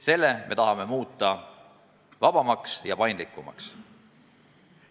Selle me tahame muuta vabamaks ja paindlikumaks.